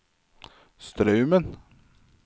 Straumen